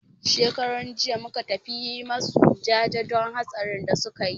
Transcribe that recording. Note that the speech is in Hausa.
Shekaran jiya muka tafi yi masu jaje don hatsarin da suka yi.